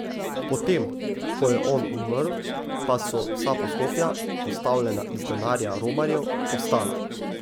Potem, ko je on umrl, pa so vsa poslopja, postavljena iz denarja romarjev, ostala.